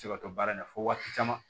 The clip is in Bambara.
Se ka to baara in na fo waati caman